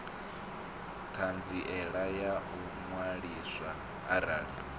ṱhanziela ya u ṅwaliswa arali